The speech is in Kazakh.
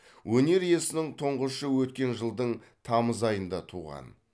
өнер иесінің тұңғышы өткен жылдың тамыз айында туған